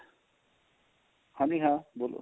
ਹਾਂਜੀ ਹਾਂ ਬੋਲੋ